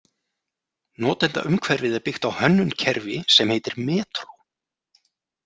Notendaumhverfið er byggt á hönnunkerfi sem heitir Metro.